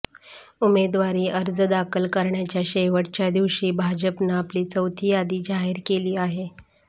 उमेदवारी अर्ज दाखल करण्याच्या शेवटच्या दिवशी भाजपनं आपली चौथी यादी जाहीर केली आहे